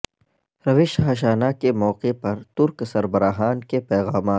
روش ہاشانا کے موقع پر ترک سربراہان کے پیغامات